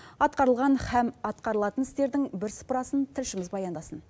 атқарылған һәм атқарылатын істердің бірсыпырасын тілшіміз баяндасын